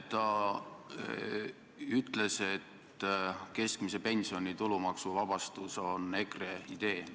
Ta ütles, et keskmise pensioni tulumaksuvabastus on EKRE idee.